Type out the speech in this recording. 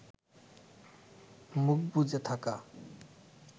মুখ বুজে থাকা